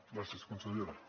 gràcies consellera